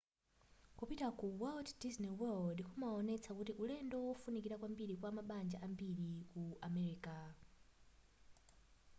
kupita ku walt disney world zimaonetsa kuti ulendo wofunikira kwambiri kwa mabanja ambiri ku america